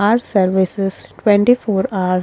are services twenty four hour --